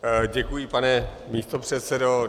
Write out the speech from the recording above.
Děkuji, pane místopředsedo.